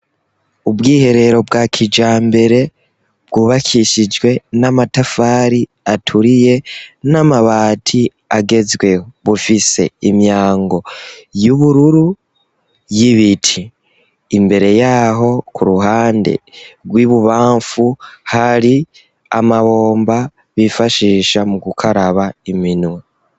Ubwiherero bwa kijambere bwubakishijwe n'amatafari aturiye n'amabati agezweho. Bufise imyango y'ubururu y'ibiti. Imbere y'aho k'uruhande rw'ibubamfu, hari amabomba bifashisha mu gukaraba iminwe.